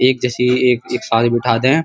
एक जैसी एक एक सात बैठा दे --